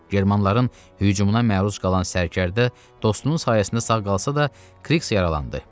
Germanların hücumuna məruz qalan sərkərdə dostunun sayəsində sağ qalsa da, Kriks yaralandı.